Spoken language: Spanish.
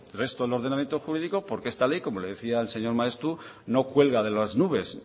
resto del ordenamiento jurídico porque esta ley como le decía el señor maeztu no cuelga de las nubes